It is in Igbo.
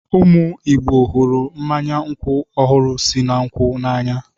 Ụmụ Igbo hụrụ mmanya nkwụ ọhụrụ si na nkwụ n'anya.